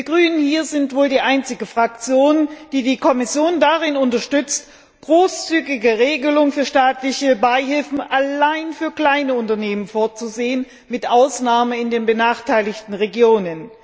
Wir Grünen sind wohl die einzige Fraktion, die die Kommission darin unterstützt, großzügige Regelungen für staatliche Beihilfen allein für kleine Unternehmen vorzusehen, außer in den benachteiligten Regionen.